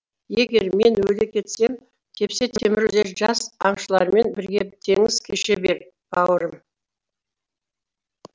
егер мен өле кетсем тепсе темір үзер жас аңшылармен бірге теңіз кеше бер бауырым